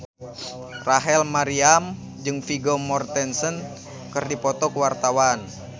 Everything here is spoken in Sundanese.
Rachel Maryam jeung Vigo Mortensen keur dipoto ku wartawan